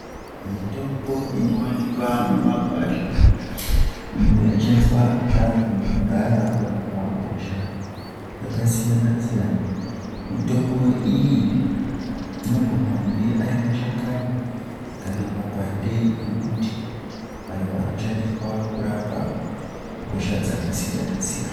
Mitombo inowanikwa mumakwasha iyo yaishandiswa nevantu vekudhaya kurapa hosha dzakasiyana-siyana. Mitombo iyi inogone kunge ari mashakani kana mapande emuti ayo anoshandiswa kurapa hosha dzakasiyana-siyana.